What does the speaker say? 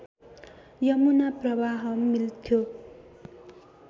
यमुना प्रवाहमा मिल्थ्यो